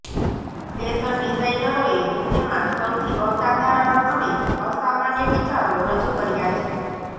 fashion ડિઝાઇનરોએ તેમાં સૌથી અસાધારણ અને અસામાન્ય વિચારો રજૂ કર્યા છે